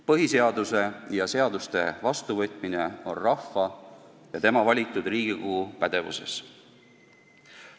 Põhiseaduse ja seaduste vastuvõtmine on rahva ja tema valitud Riigikogu pädevuses.